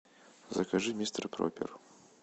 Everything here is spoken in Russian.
закажи мистер проппер